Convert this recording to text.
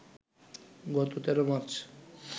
গত ১৩ মার্চ